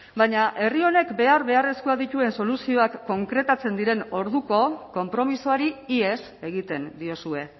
baina herri honek behar beharrezkoak dituzten soluzioak konkretatzen diren orduko konpromisoari ihes egiten diozue